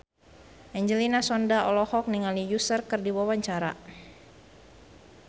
Angelina Sondakh olohok ningali Usher keur diwawancara